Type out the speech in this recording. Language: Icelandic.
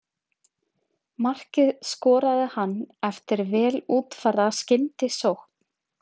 Markið skoraði hann eftir vel útfærða skyndisókn.